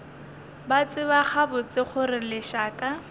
ba tseba gabotse gore lešaka